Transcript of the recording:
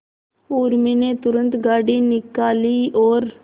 उर्मी ने तुरंत गाड़ी निकाली और